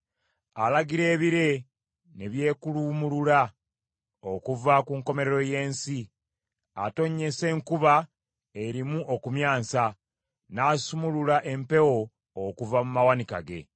Alagira ebire ne byekuluumulula okuva ku nkomerero y’ensi; atonnyesa enkuba erimu okumyansa, n’asumulula empewo okuva mu mawanika ge.